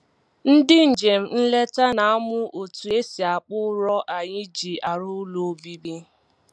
Ndị njem nleta na-amụ otu e si akpụ ụrọ anyị ji arụ ụlọ obibi